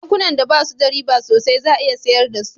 Bankuna da basu da riba sosai za a iya sayar da su